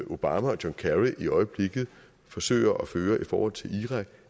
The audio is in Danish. obama og john kerry i øjeblikket forsøger at føre i forhold til irak